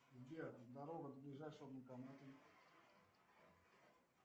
сбер дорога до ближайшего банкомата